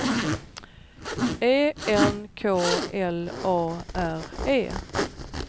E N K L A R E